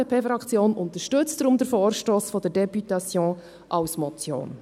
Die FDP-Fraktion unterstützt deshalb den Vorstoss der Députation als Motion.